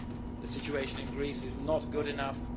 The situation in Greece is not good enough